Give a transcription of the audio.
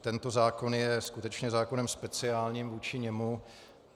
Tento zákon je skutečně zákonem speciálním vůči němu.